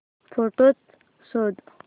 photos शोध